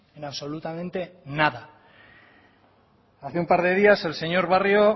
en absolutamente nada hace un par de días el señor barrio